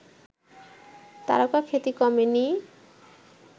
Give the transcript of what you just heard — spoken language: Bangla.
তারকাখ্যাতি কমেনি